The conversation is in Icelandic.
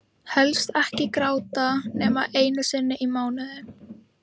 Helst ekki gráta nema einu sinni í mánuði.